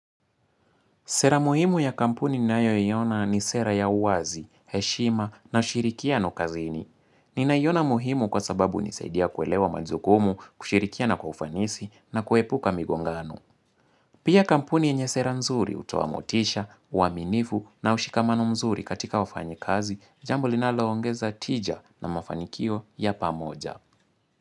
Sera muhimu ya kampuni ninayo iona ni sera ya uwazi, heshima na ushirikiano kazini. Ninaiona muhimu kwa sababu hunisaidia kuelewa majukumu, kushirikiana kwa ufanisi na kuepuka migongano. Pia kampuni yenye sera nzuri hutoa motisha, uaminifu na ushikamano mzuri katika wafanyi kazi, jambo linalo ongeza tija na mafanikio ya pamoja.